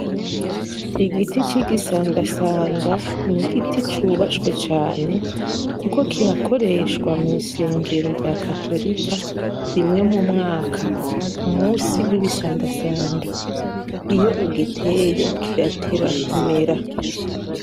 Igiti c'igisandasanda n'igiti cubashwe cane kuko kirakoreshwa mw'isengero rya Katorika rimwe mu mwaka ku musi w'ibisandasanda. Iyo ugiteye kirateba kumera.